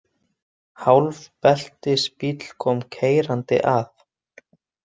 Hálfbeltisbíll kom keyrandi að.